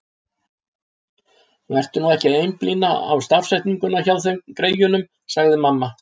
Vertu nú ekki að einblína á stafsetninguna hjá þeim, greyjunum, sagði mamma.